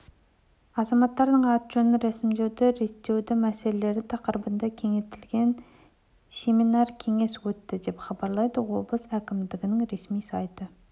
азаматтардың аты-жөнін ресімдеуді реттеу мәселелері тақырыбында кеңейтілген семинар-кеңес өтті деп хабарлады облыс әкімшілігінің ресми сайты